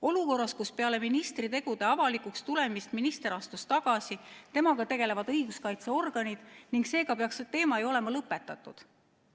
Olukorras, kus peale ministri tegude avalikuks tulemist minister astus tagasi, temaga tegelevad edasi õiguskaitseorganid ning see teema peaks seega olema ju lõpetatud.